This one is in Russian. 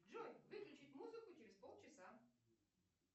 джой выключить музыку через полчаса